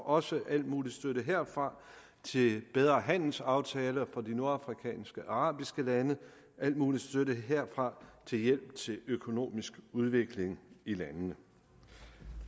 også al mulig støtte herfra til bedre handelsaftaler for de nordafrikanske arabiske lande og al mulig støtte herfra til hjælp til økonomisk udvikling i landene